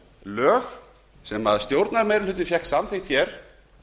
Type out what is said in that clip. lög sem stjórnarmeirihlutinn fékk samþykkt hér